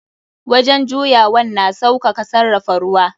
Wajen juyawan na sausaka sarrafa ruwa.